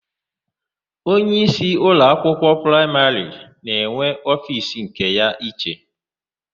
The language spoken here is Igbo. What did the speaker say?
Onyeísí ụlọakwụkwọ praịmarị na-enwe ofiisi nke ya iche.